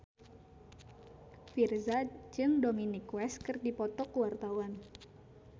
Virzha jeung Dominic West keur dipoto ku wartawan